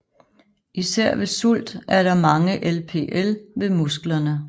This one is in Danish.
Især ved sult er der mange LPL ved musklerne